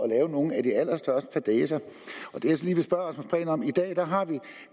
lave nogle af de allerstørste fadæser i dag